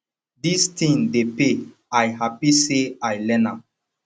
dis thing dey pay i happy say i learn am